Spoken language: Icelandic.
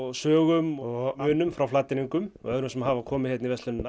sögum og munum frá Flateyringum og öðrum sem að hafa komið hingað í verslunina